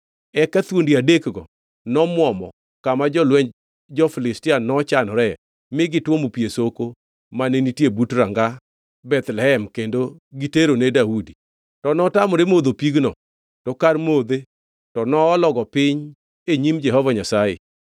Eka thuondi adekgo nomwomo kama jolwenj jo-Filistia nochanore mi gitwomo pi e soko mane nitie but ranga Bethlehem kendo giterone Daudi. To notamore modho pigno, to kar modhe to noologo piny e nyim Jehova Nyasaye.